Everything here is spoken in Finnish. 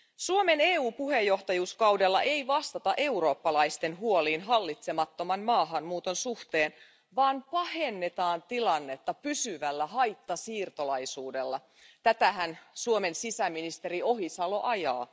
Suomen EU puheenjohtajakaudella ei vastata eurooppalaisten huoliin hallitsemattoman maahanmuuton suhteen, vaan pahennetaan tilannetta pysyvällä haittasiirtolaisuudella tätähän Suomen sisäministeri Ohisalo ajaa.